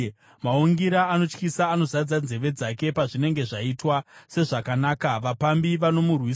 Maungira anotyisa anozadza nzeve dzake; pazvinenge zvaita sezvakanaka, vapambi vanomurwisa.